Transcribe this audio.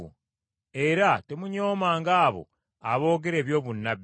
era temunyoomanga abo aboogera eby’obunnabbi,